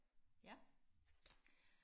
ja